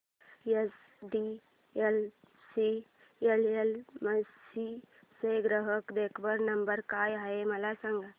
HDFC AMC चा ग्राहक देखभाल नंबर काय आहे मला सांग